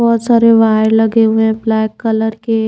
बहुत सारे वायर लगे हुए हैं ब्लैक कलर के--